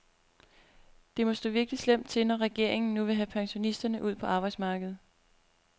Det må stå virkelig slemt til, når regeringen nu vil have pensionisterne ud på arbejdsmarkedet.